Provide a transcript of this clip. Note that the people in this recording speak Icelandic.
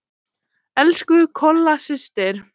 Elsku Kolla systir.